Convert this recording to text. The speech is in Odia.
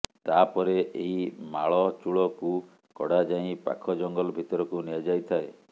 ତାପରେ ଏହି ମାଳଚୂଳକୁ କଢାଯାଇ ପାଖ ଜଙ୍ଗଲ ଭିତରକୁ ନିଆଯାଇଥାଏ